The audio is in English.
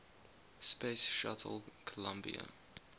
space shuttle columbia